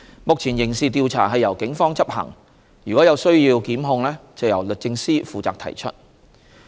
目前，刑事調查由警方執行；如有需要檢控，則由律政司負責提出。